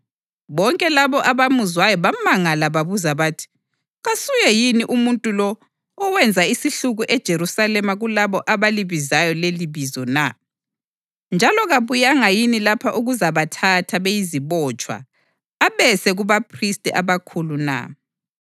Bonke labo abamuzwayo bamangala babuza bathi, “Kasuye yini umuntu lo owenza isihluku eJerusalema kulabo abalibizayo lelibizo na? Njalo kabuyanga yini lapha ukuzabathatha beyizibotshwa abese kubaphristi abakhulu na?”